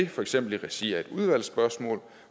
for eksempel i regi af udvalgsspørgsmål